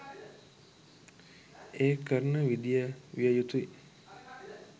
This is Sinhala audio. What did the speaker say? ඒ කරන විදිය විය යුතුයි.